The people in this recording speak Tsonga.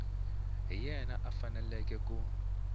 hi yena a faneleke ku